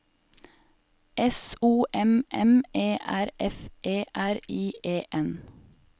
S O M M E R F E R I E N